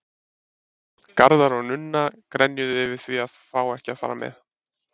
Garðar og Nunna grenjuðu yfir því að fá ekki að fara með.